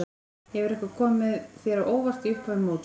Hefur eitthvað komið þér á óvart í upphafi móts?